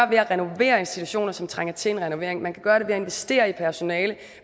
ved at renovere institutioner som trænger til en renovering man kan gøre det ved at investere i personale